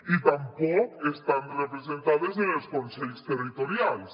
i tampoc estan representades en els consells territorials